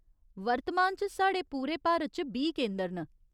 वर्तमान च साढ़े पूरे भारत च बीह् केंदर न।